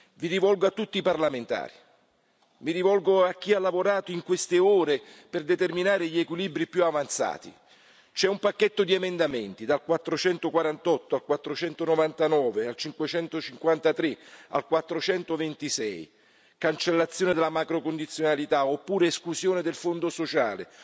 Mi rivolgo a tutti i parlamentari, mi rivolgo a chi ha lavorato in queste ore per determinare gli equilibri più avanzati c'è un pacchetto di emendamenti, dal 448 al 499, al 553, al 426 cancellazione della macrocondizionalità, oppure esclusione del Fondo sociale,